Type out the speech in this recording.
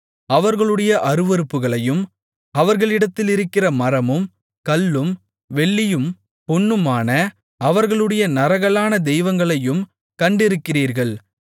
அவர்களுடைய அருவருப்புகளையும் அவர்களிடத்திலிருக்கிற மரமும் கல்லும் வெள்ளியும் பொன்னுமான அவர்களுடைய நரகலான தெய்வங்களையும் கண்டிருக்கிறீர்கள்